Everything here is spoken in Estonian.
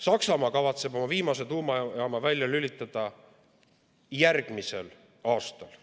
Saksamaa kavatseb oma viimase tuumajaama välja lülitada järgmisel aastal.